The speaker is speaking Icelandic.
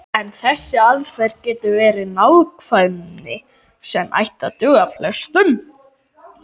En þessi aðferð getur gefið nákvæmni sem ætti að duga flestum.